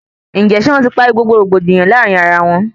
Ǹjẹ ṣe wọn ti parí gbogbo rògbòdìyàn láàrin ará wọn?